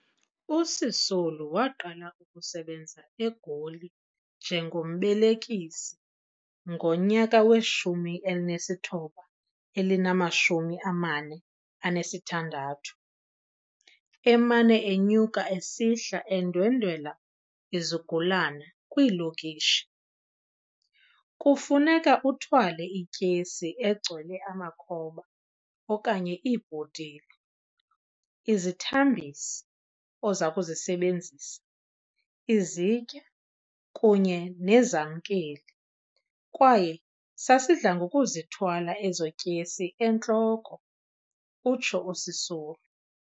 USisulu waqala ukusebenza eGoli njengombelekisi ngonyaka we- 1946, emane enyuka esihla endwendwela izigulana kwiilokishi. Kufuneka uthwale ityesi egcwele amakhoba okanye iibhotile, izithambisi ozakuzisebenzisa, izitya kunye nezamkeli, kwaye sasidlangokuzithwala ezo tyesi entloko," utsho uSisulu.